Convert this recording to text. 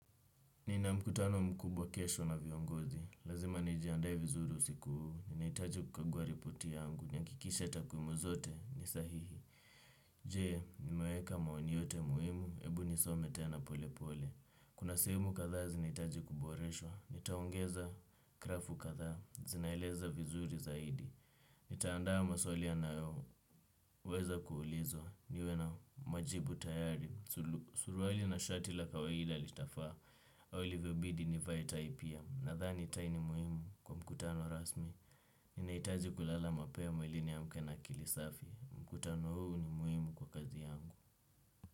Nina mkutano mkubwa kesho na viongozi, lazima nijiandae vizuru siku huu, ninahitaji kukagua ripoti yangu, nihakikishe takwimu zote, ni sahihi. Je, nimeweka maoni yote muhimu, ebu nisome tena pole pole, kuna sehemu kadhaa zinahitaji kuboreshwa, nitaongeza grafu kadhaa, zinaeleza vizuri zaidi. Nitaandaa maswali yanayoweza kuulizwa niwe na majibu tayari. Suruaili na shati la kawaida litafaa ilivyobidi nivae tai pia nadhani tai ni muhimu kwa mkutano rasmi ninahitaji kulala mapema ili niamke na akili safi mkutano huu ni muhimu kwa kazi yangu.